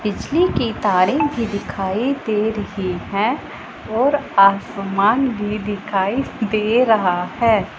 बिजली के तारे भी दिखाई दे रही है और आसमान भी दिखाई दे रहा है।